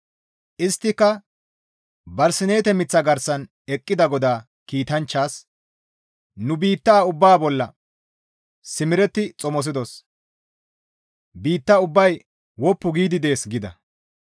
Isttika barsineete miththaa garsan eqqida GODAA kiitanchchaas, «Nu biitta ubbaa bolla simeretti xomosidos; biitta ubbay woppu giidi dees» gida.